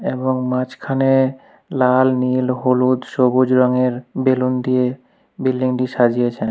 এবং মাঝখানে লাল নীল হলুদ সবুজ রঙের বেলুন দিয়ে বিল্ডিংটি সাজিয়েছে।